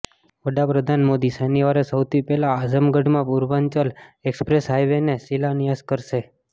વડાપ્રધાન મોદી શનિવારે સૌથી પહેલા આઝમગઢમાં પૂર્વાંચલ એક્સપ્રેસ હાઇવેનો શિલાન્યાસ કરશે